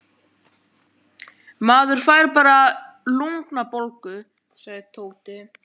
Maður fær bara lungnabólgu, sagði Tóti.